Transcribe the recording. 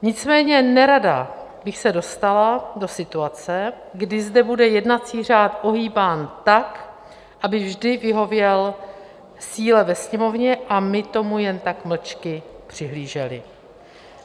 Nicméně nerada bych se dostala do situace, kdy zde bude jednací řád ohýbán tak, aby vždy vyhověl síle ve Sněmovně, a my tomu jen tak mlčky přihlíželi.